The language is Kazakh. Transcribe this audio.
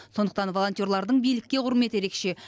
сондықтан волонтерлардың билікке құрметі ерекше